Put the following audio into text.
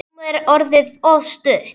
Rúmið er orðið of stutt.